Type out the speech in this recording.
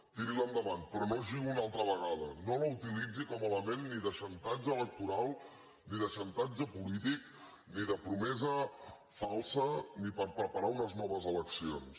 tiri la endavant però no jugui una altra vegada no la utilitzi com a element ni de xantatge electoral ni de xantatge polític ni de promesa falsa ni per preparar unes noves eleccions